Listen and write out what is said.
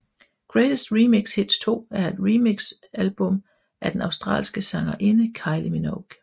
Greatest Remix Hits 2 er et remixalbum af den australske sangerinde Kylie Minogue